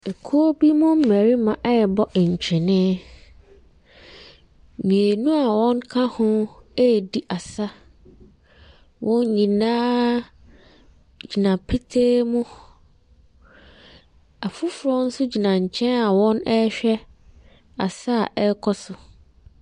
Ekuo bi mu mmarima rebɔ ntwene. Mmienu a wɔka ho redi asa. Wɔn nyinaa gyina petee mu. Afoforɔ nso gyina nkyɛn a wɔrehwɛ asa a ɛrekɔ so.